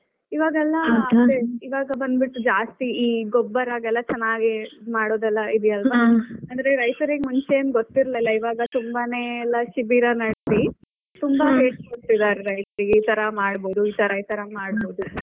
ಇವಾಗ ಬಂದ್ ಬಿಟ್ಟು ಜಾಸ್ತಿ ಗೊಬ್ಬರ ಹಾಗೆಲ್ಲ ಚೆನ್ನಾಗಿ ಇದ್ ಮಾಡೋದೆಲ್ಲ ಇದೆ ಅಲ್ವಾ ಅಂದ್ರೆ ರೈತರಿಗ್ ಮುಂಚೆ ಏನ್ ಗೊತ್ತಿರಲಿಲ್ಲ ಇವಾಗ ತುಂಬಾನೇ ಎಲ್ಲ ಶಿಬಿರ ನಡೆಸಿ ತುಂಬಾ ಹೇಳ್ಕೊಡ್ತಿದಾರೆ ರೈತರಿಗೆಲ್ಲ ಇತರ ಮಾಡ್ಬಹದು ಇತರ ಇತರ ಮಾಡಬಹುದು .